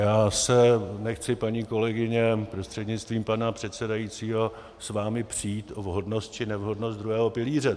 Já se nechci, paní kolegyně, prostřednictvím pana předsedajícího s vámi přít o vhodnost či nevhodnost druhého pilíře.